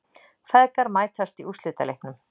Feðgar mætast í úrslitaleiknum